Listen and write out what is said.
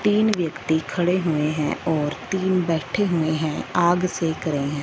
तीन व्यक्ति खड़े हुए है और तीन बैठे हुए हैं आग सेक रहे है।